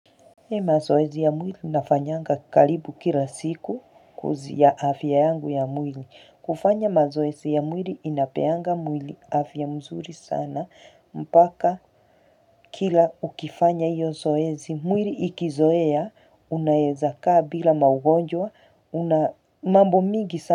Mi mazoesi ya mwili nafanyanga kalibu kila siku kuzi ya afya yangu ya mwili kufanya mazoesi ya mwili inapeanga mwili afya mzuri sana mpaka kila ukifanya iyo zoezi mwili ikizoea unaezakaa bila maugonjwa una mambo mingi sana.